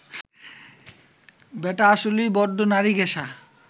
ব্যাটা আসলেই বড্ড নারীঘেঁষা